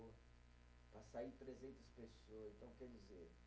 Para sair trezentas pessoas, então quer dizer